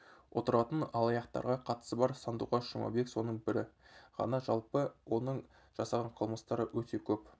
отыратын алаяқтарға қатысы бар сандуғаш жұмабек соның бірі ғана жалпы оның жасаған қылмыстары өте көп